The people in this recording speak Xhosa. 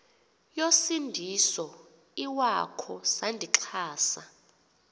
yosindiso iwakho sandixhasa